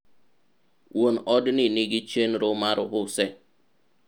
wuon odni nigi chenro mar use